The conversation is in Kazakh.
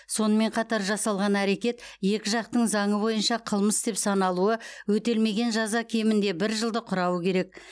сонымен қатар жасалған әрекет екі жақтың заңы бойынша қылмыс деп саналуы өтелмеген жаза кемінде бір жылды құрауы керек